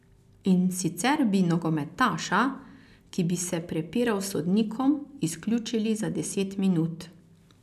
In sicer bi nogometaša, ki bi se prepiral s sodnikom, izključili za deset minut.